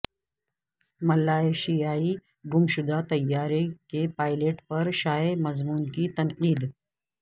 ملائشیائی گمشدہ طیارہ کے پائلٹ پر شائع مضمون کی تنقید